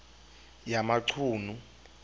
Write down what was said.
yamachunu